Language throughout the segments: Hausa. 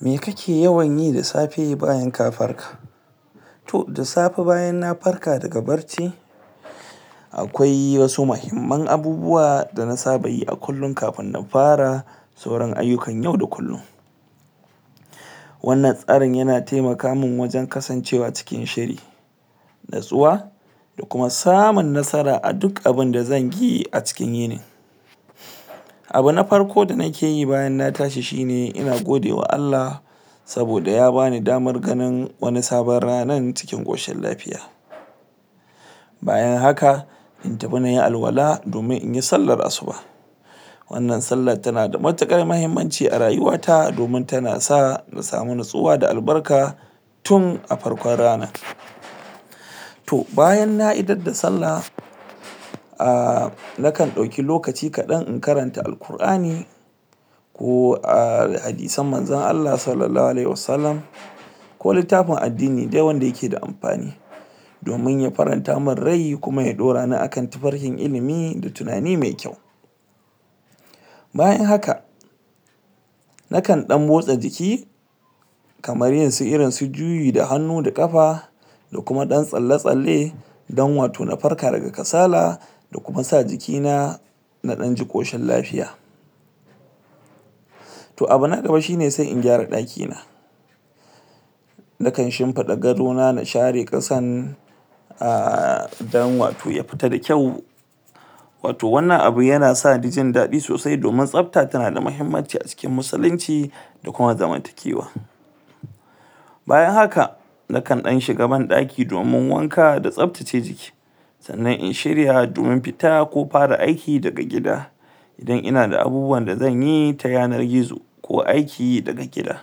me kake yawanyi da safe bayan ka farka to da safe bayan na farka daga barci akwai wasu muihimman abubuwa dana sabayi a kullun kafin na fara sauran ayukan yau da kullin wannan tsarin yana taimaka man wajen kasancewa cikin shiri natsuwa duk abinda zanyi a cikin yinin abu na farko da nikeyi bayan na tashi shine ina gidewa ALLAH saboda ya bani damar ganin wani sabon ranan cikin koshin lfy bayan haka in tafi nayi alwala domin inyi sallar asuba wannan sallar tana da matukar muhimmanci a rayuwa ta domin tana sa na samu natsuwa da albarka tun a farkon ranar to bayan na idar da sallah ah nakan dauki lokaci kadan in karanta al-qur'ani ko a hadisan manzon ALLAH sallallahu alaihuwasallam ko littafin addini dai wanda yake da amfani domin ya faranta man rai kuma ya dorani akan tafarkin ilimi da tunani me kyau bayan haka na kan dan motsa jiki kamar yin su irin su juyi da hannu da kafa don wato na farka daga kasala na kuma sa jiki na na danji koshin lafiya to abu na gaba shine sai in gyara daki na nakan dan shimfida gado na na share kasan ah don wato ya fita da kyau wato wannan abu yana sani jin dadi sosai domin tsabta tana da muhimmanci a cikin musulincida kuma zamantakewa bayan haka nakan dan shiga ban daki domin wanka da tsabtace jiki sannan in shirya domin fita ko fara aiki daga gida idan ina da abubuwan da zanyi ta yanar gizoko aiki daga gida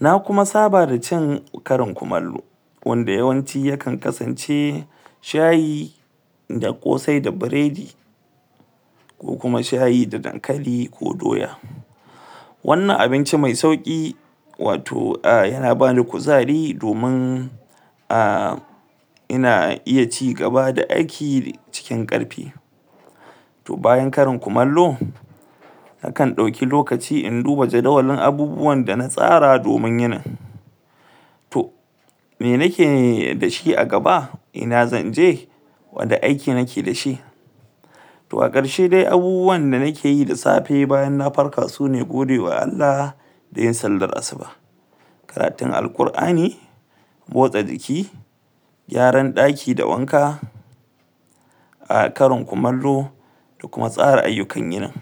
na kuma saba da cin karin kumallo wanda yawanci yakan kasance shayi da kosai da biredi ko kuma shayi da dankali ko doya wannan abinci me sauki wato ah yana bada kuzari domin ah ina iya ci gaba da aiki cikin karfi to bayan karin kumallo nakan dauki lokaci in duba jadawalin abubuwan da na tsara domin yinin to me nike dashi a gaba ina zanje wane aiki nike dashi to a karshe dai abubuwan da nikeyi da safe bayan na farka sune ina godewa ALLAH a karatun al-qur'ani motsa jiki gyaran daki da wanka ah karin kumallo da kuma tsara ayukan yinin